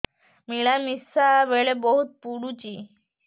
ମିଳାମିଶା ବେଳେ ବହୁତ ପୁଡୁଚି